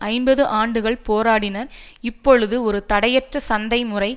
ஐம்பது ஆண்டுகள் போராடின இப்பொழுது ஒரு தடையற்ற சந்தை முறை